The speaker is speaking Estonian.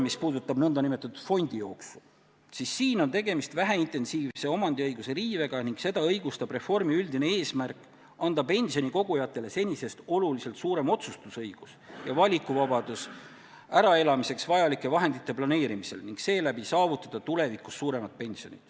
Mis puudutab nn fondijooksu, siis siin on tegemist väheintensiivse omandiõiguse riivega ning seda õigustab reformi üldine eesmärk anda pensionikogujatele senisest oluliselt suurem otsustusõigus ja valikuvabadus äraelamiseks vajalike vahendite planeerimisel ning seeläbi tagada tulevikus endale suurem pension.